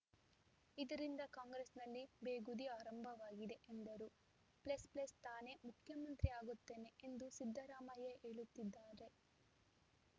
ಇದರಿಂದ ಕಾಂಗ್ರೆಸ್‌ನಲ್ಲಿ ಬೇಗುಧಿ ಆರಂಭವಾಗಿದೆ ಎಂದರು ಪ್ಲಸ್ ಪ್ಲಸ್ ತಾನೇ ಮುಖ್ಯಮಂತ್ರಿ ಆಗುತ್ತೇನೆ ಎಂದು ಸಿದ್ದರಾಮಯ್ಯ ಹೇಳುತ್ತಿದ್ದಾರೆ